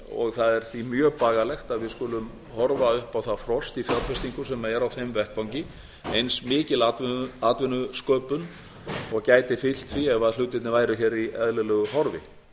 og það er því mjög bagalegt að við skulum horfa upp á það frost í fjárfestingum sem er á þeim vettvangi eins mikil atvinnusköpun og gæti fylgt því ef hlutirnir væru hér í eðlilegu horfi